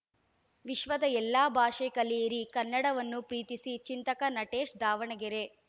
ವಿಶ್ವದ ಎಲ್ಲಾ ಭಾಷೆ ಕಲಿಯಿರಿ ಕನ್ನಡವನ್ನೂ ಪ್ರೀತಿಸಿ ಚಿಂತಕ ನಟೇಶ್‌ ದಾವಣಗೆರೆ